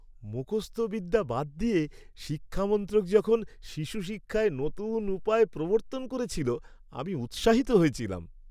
মুখস্থ বিদ্যা বাদ দিয়ে শিক্ষা মন্ত্রক যখন শিশু শিক্ষায় নতুন উপায় প্রবর্তন করেছিল, আমি উৎসাহিত হয়েছিলাম।